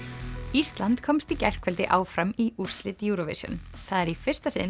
ísland komst í gærkvöldi áfram í úrslit Eurovision það er í fyrsta sinn